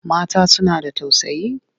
Mata suna da tausayi.